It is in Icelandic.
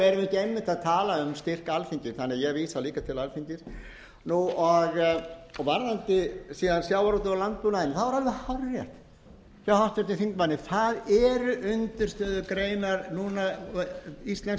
einmitt að tala um styrk alþingis þannig að ég vísa líka til alþingis varðandi síðan sjávarútveg og landbúnaðinn er alveg hárrétt hjá háttvirtum þingmanni það eru undirstöðugreinar núna íslensks